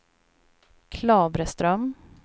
Klavreström